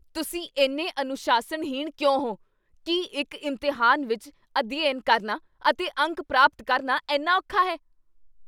ਤੁਸੀਂ ਇੰਨੇ ਅਨੁਸ਼ਾਸਨਹੀਣ ਕਿਉਂ ਹੋ? ਕੀ ਇੱਕ ਇਮਤਿਹਾਨ ਵਿੱਚ ਅਧਿਐਨ ਕਰਨਾ ਅਤੇ ਅੰਕ ਪ੍ਰਾਪਤ ਕਰਨਾ ਇੰਨਾ ਔਖਾ ਹੈ?